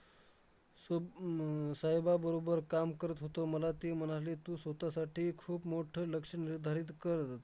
स्व हम्म अह साहेबाबरोबर काम करत होतो. मला ते म्हणाले, तू स्वतःसाठी खूप मोठं लक्ष्य निर्धारित कर.